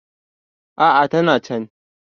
a a tana can